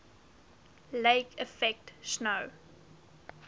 lake effect snow